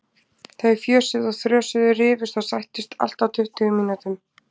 Þau fjösuðu og þrösuðu, rifust og sættust, allt á tuttugu mínútum.